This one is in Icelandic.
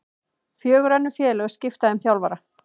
Fjögur önnur félög skipta um þjálfara